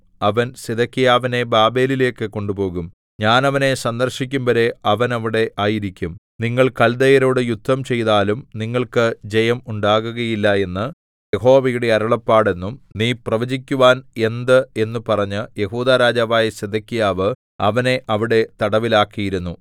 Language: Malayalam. അവൻ സിദെക്കീയാവിനെ ബാബേലിലേക്കു കൊണ്ടുപോകും ഞാൻ അവനെ സന്ദർശിക്കുംവരെ അവൻ അവിടെ ആയിരിക്കും നിങ്ങൾ കൽദയരോടു യുദ്ധംചെയ്താലും നിങ്ങൾക്ക് ജയം ഉണ്ടാകുകയില്ല എന്ന് യഹോവയുടെ അരുളപ്പാട് എന്നും നീ പ്രവചിക്കുവാൻ എന്ത് എന്നു പറഞ്ഞ് യെഹൂദാ രാജാവായ സിദെക്കീയാവ് അവനെ അവിടെ തടവിലാക്കിയിരുന്നു